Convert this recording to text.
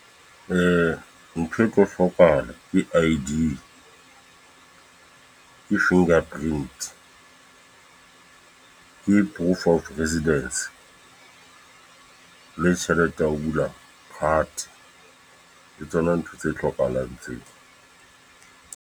Ntho e tlo hlokahala, ke I_D, ke finger print ke proof of residence. Le tjhelete ya ho bula card. Ke tsona ntho tse hlokahalang tseo.